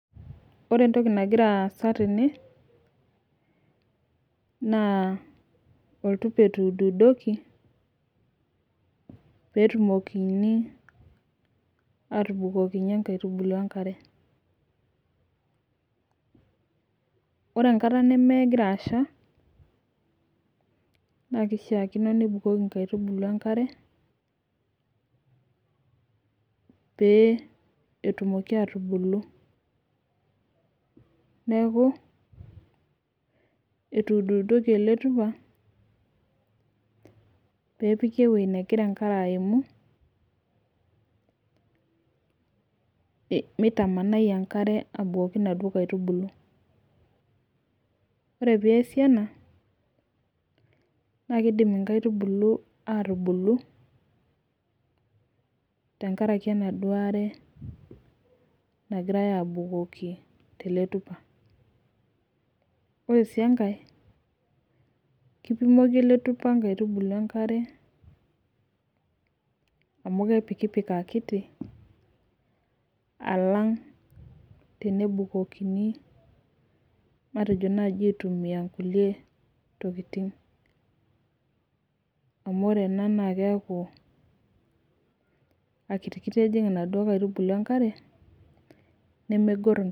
Ore entoki nagira aasa tene na oltupa etuududoki petumokini atubukokinye nkaitubulu enkare ore enkata nemegira asha na kishakino nibukuki nkaitubulu enkare pee etumoki atubulu neaku etuududoki eletupa pepikinewoi nagira apuku mitamanai enkare abukoki naduo aitubulu ore peasi ena na kidim inkaitubulu atubulu tenkaraki enaduo aare nagirai abukoki teletupa ore si enkae kipimoli eletupa nkaitubulu enkare amu kepikipik akiti alang tenebukokini matejo aitumia nkulie tokitin amu ore ena na keaku akititiki ejing nona aitubulu enkare.